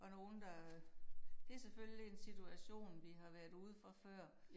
Og nogen der det selvfølgelig en situation vi har været ude for før